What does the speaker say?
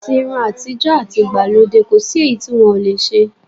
Àti irun àtijọ́, àti ìgbàlódé, kò sí èyí tí wọ́n ò le ṣe.